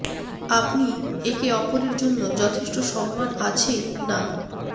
আপনি একে অপরের জন্য যথেষ্ট সম্মান আছে না